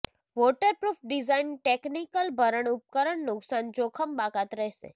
waterproof design technical ભરણ ઉપકરણ નુકસાન જોખમ બાકાત રહેશે